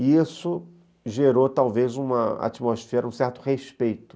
E isso gerou, talvez, uma atmosfera, um certo respeito.